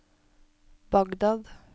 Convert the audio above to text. Bagdad